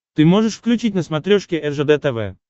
ты можешь включить на смотрешке ржд тв